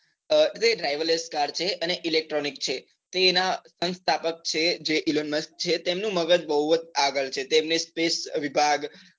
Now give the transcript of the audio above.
એટલે driver less car છે અને electronic છે તો એના અનુ સ્થાપક છે જે ઈલોન મસ્ક છે તેમનું મગજ બહુ જ આગળ છે તેમને space વિભાગ